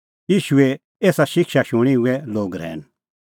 ईशूए एसा शिक्षा शूणीं हुऐ लोग रहैन